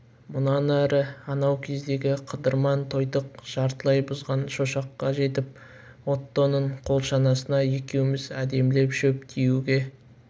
мұнан әрі анау кездегі қыдырман тойтық жартылай бұзған шошаққа жетіп оттоның қол шанасына екеуміз әдемілеп шөп тиеуге